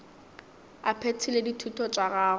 a phethile dithuto tša gagwe